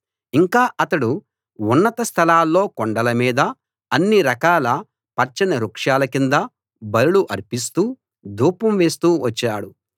ఇంకా అతడు ఉన్నత స్థలాల్లో కొండల మీద అన్ని రకాల పచ్చని వృక్షాల కింద బలులు అర్పిస్తూ ధూపం వేస్తూ వచ్చాడు